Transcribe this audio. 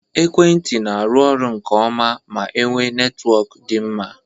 Ekwentị n'aru ọrụ nke ọma ma enwe netwọk dị mma